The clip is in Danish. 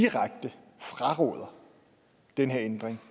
direkte fraråder den her ændring